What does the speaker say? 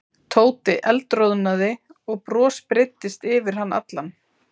Tóti eldroðnaði og bros breiddist yfir hann allan.